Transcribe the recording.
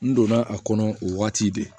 N donna a kɔnɔ o waati de